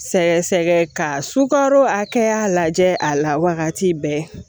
Sɛgɛ sɛgɛ ka sukaro hakɛya lajɛ a la wagati bɛɛ